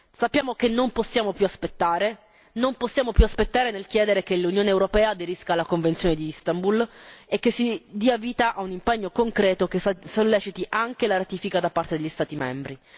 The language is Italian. Sappiamo che non possiamo più aspettare, non possiamo più aspettare nel chiedere che l'Unione europea aderisca alla Convenzione di Istanbul e che si dia vita a un impegno concreto che solleciti anche la ratifica da parte degli Stati membri.